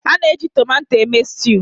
a na-eji tomato eme sutu